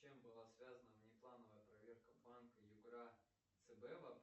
с чем была связана внеплановая проверка банка югра цб